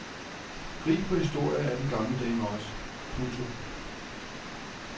Rig på historie er den gamle dame også. punktum